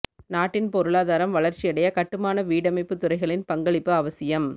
நாட்டின் பொருளாதாரம் வளர்ச்சியடைய கட்டுமான வீடமைப்பு துறைகளின் பங்களிப்பு அவசியம்